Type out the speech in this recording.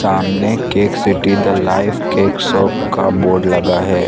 सामने cake city the live cake shop का board लगा है।